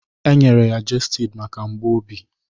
E nyere ya gestid maka mgbu obi